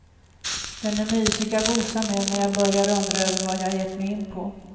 Den är mysig att gosa med när jag börjar undra över vad jag gett mig in på.